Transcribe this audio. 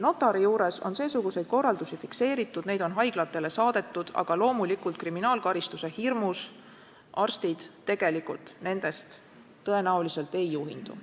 Notari juures on seesuguseid korraldusi fikseeritud, neid on haiglatele saadetud, aga loomulikult kriminaalkaristuse hirmus arstid tegelikult nendest tõenäoliselt ei juhindu.